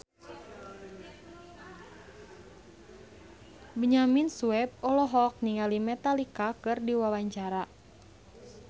Benyamin Sueb olohok ningali Metallica keur diwawancara